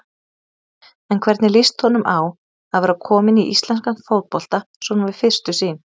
En hvernig líst honum á að vera kominn í íslenskan fótbolta svona við fyrstu sýn?